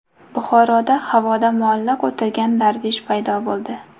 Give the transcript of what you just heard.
Buxoroda havoda muallaq o‘tirgan darvish paydo bo‘ldi .